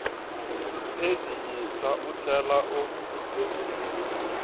pheji yintshwa u tlhela u